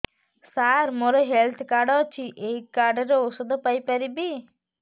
ସାର ମୋର health card ଅଛି ଏହି କାର୍ଡ ରେ ଔଷଧ ପାଇପାରିବି